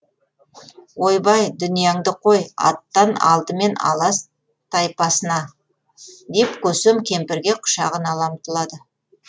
ойбай дүнияңды қой аттан алдымен алас тайпасына деп көсем кемпірге құшағын ала ұмтылады